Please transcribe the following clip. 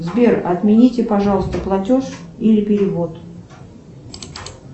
сбер отмените пожалуйста платеж или перевод